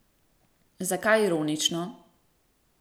Zakaj ironično?